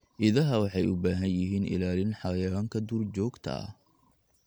Idaha waxay u baahan yihiin ilaalin xayawaanka duurjoogta ah.